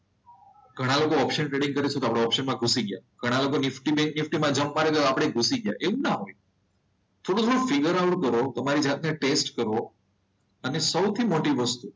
ઘણા લોકો option trading કરે છે તો આપણે ઓપ્શન માં ઘૂસી ગયા. ઘણા લોકો નિફ્ટી બેંક નિફ્ટીમાં જમ્પ મારે છે તો આપણે ઘૂસી ગયા એવું ના હોય થોડું થોડું ફિગર આઉટ કરો તમારી જાતને ટેસ્ટ કરો અને સૌથી મોટી વસ્તુ